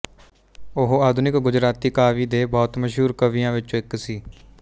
ਉਹ ਆਧੁਨਿਕ ਗੁਜਰਾਤੀ ਕਾਵਿ ਦੇ ਬਹੁਤ ਮਸ਼ਹੂਰ ਕਵੀਆਂ ਵਿੱਚੋਂ ਇੱਕ ਸੀ